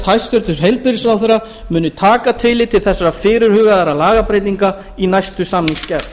hæstvirtur heilbrigðisráðherra muni taka tillit til þessara fyrirhuguðu lagabreytinga í næstu samningsgerð